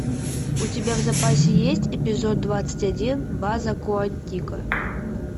у тебя в запасе есть эпизод двадцать один база куантико